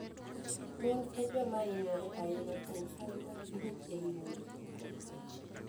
Mon e joma hinyore ahinya kuom sand mag chuech ei udi.